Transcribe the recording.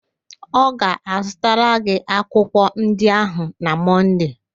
Ọ ga-azụtara gị akwụkwọ ndị ahụ na Mọnde